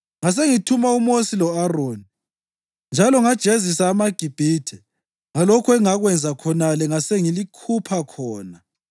Ngasengithuma uMosi lo-Aroni, njalo ngajezisa amaGibhithe ngalokho engakwenza khonale ngasengilikhupha khona.